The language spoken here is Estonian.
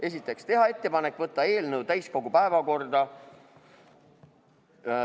Esiteks, teha ettepanek võtta eelnõu täiskogu päevakorda.